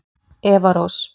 Eva Rós.